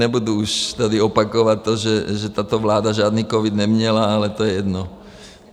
Nebudu už tady opakovat to, že tato vláda žádný covid neměla, ale to je jedno.